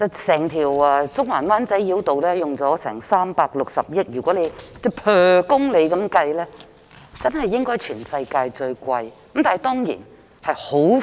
整條中環及灣仔繞道耗費360億元興建，若按每公里計算，應該是全球最昂貴的了。